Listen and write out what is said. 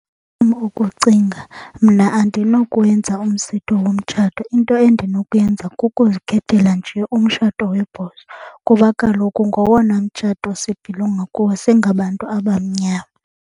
Ngokwan ukucinga mna andinokwenza umsitho womtshato. Into endinokuyenza kukuzikhethela nje umshato kuba kaloku ngowona mtshato sibhilonga kuwo singabantu abamnyama.